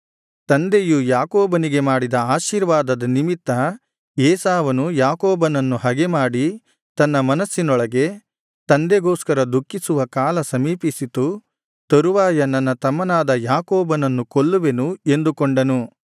ತಂದೆಯು ಯಾಕೋಬನಿಗೆ ಮಾಡಿದ ಆಶೀರ್ವಾದದ ನಿಮಿತ್ತ ಏಸಾವನು ಯಾಕೋಬನನ್ನು ಹಗೆಮಾಡಿ ತನ್ನ ಮನಸ್ಸಿನೊಳಗೆ ತಂದೆಗೋಸ್ಕರ ದುಃಖಿಸುವ ಕಾಲ ಸಮೀಪಿಸಿತು ತರುವಾಯ ನನ್ನ ತಮ್ಮನಾದ ಯಾಕೋಬನನ್ನು ಕೊಲ್ಲುವೆನು ಎಂದುಕೊಂಡನು